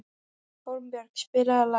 Hólmbjörg, spilaðu lag.